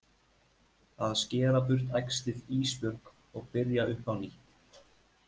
Að skera burt æxlið Ísbjörg og byrja upp á nýtt.